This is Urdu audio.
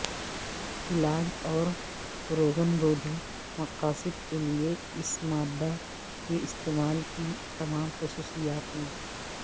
علاج اور روگنرودھی مقاصد کے لئے اس مادہ کے استعمال کی تمام خصوصیات میں